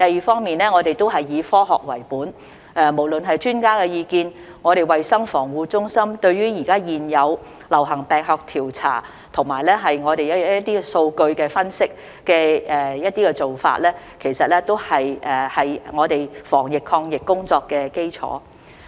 此外，我們以科學為本，無論是專家意見、衞生防護中心對於現有流行病學調查和數據分析的做法，其實都是我們防疫抗疫工作的基礎。